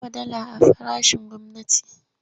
Ya sayi sefa da yawa.